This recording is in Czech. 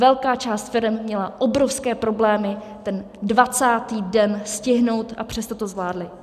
Velká část firem měla obrovské problémy ten 20. den stihnout, a přesto to zvládly.